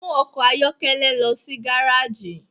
Mu ọkọ ayọkẹlẹ lọ si gareji!